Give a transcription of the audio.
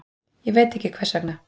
Ég veit ekki hvers vegna.